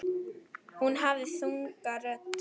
Hún hafði þunga rödd.